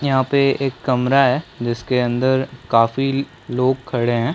यहाँ पे एक कमरा है जिसके अंदर काफी लोग खड़े है।